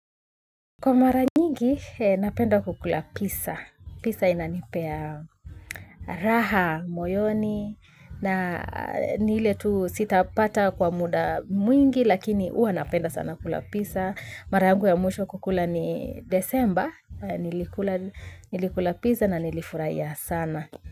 Kwa maranyigi napenda kukula pizza. Pizza inanipea raha, moyoni na ni ile tu sitapata kwa muda mwingi lakini huwa napenda sana kukula pizza. Mara yangu ya mwisho kukula ni desemba. Nilikula pizza na nilifurahia sana.